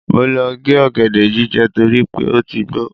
Mo lọ gé ọ̀gẹ̀dẹ̀ jíjẹ torí pé ó ti gbó.